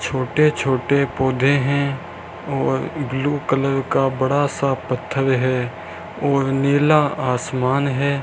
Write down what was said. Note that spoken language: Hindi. छोटे छोटे पौधे है और ब्लू कलर का बड़ा सा पत्थर है और नीला आसमान है।